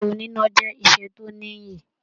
Iṣẹ oníná jẹ iṣẹ tó níyì.